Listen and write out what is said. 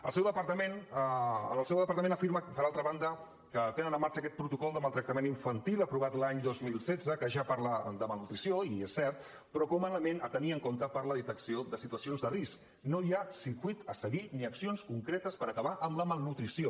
el seu departament afirma per altra banda que tenen en marxa aquest protocol de maltractament infantil aprovat l’any dos mil setze que ja parla de malnutrició és cert però com a element a tenir en compte per a la detecció de situacions de risc no hi ha circuit a seguir ni accions concretes per acabar amb la malnutrició